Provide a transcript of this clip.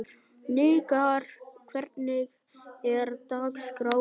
Hnikarr, hvernig er dagskráin?